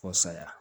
Fo saya